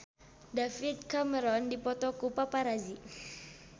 David Cameron dipoto ku paparazi